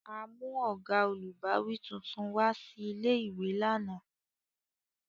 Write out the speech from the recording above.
A mu oga olubawi tuntun wa si ìlé-ìwé làná.